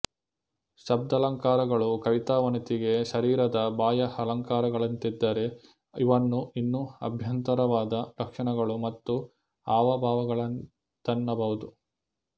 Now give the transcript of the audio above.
ಶಬ್ದಾಲಂಕಾರಗಳು ಕವಿತಾವನಿತೆಗೆ ಶರೀರದ ಬಾಹ್ಯ ಅಲಂಕಾರಗಳಂತಿದ್ದರೆ ಇವನ್ನು ಇನ್ನೂ ಅಭ್ಯಂತರವಾದ ಲಕ್ಷಣಗಳು ಮತ್ತು ಹಾವಭಾವಗಳಂತೆನ್ನಬಹುದು